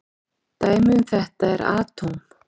Dæmi um þetta eru atóm.